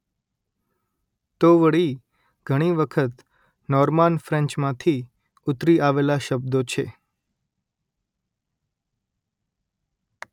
તો વળી ઘણી વખત નોર્માન ફ્રેન્ચમાંથી ઉતરી આવેલા શબ્દો છે